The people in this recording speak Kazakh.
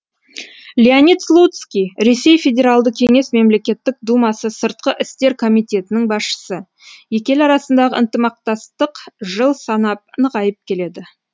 леонид слуцкий ресей федералды кеңес мемлекеттік думасы сыртқы істер комитетінің басшысы екі ел арасындағы ынтымақтастық жыл санап нығайып келеді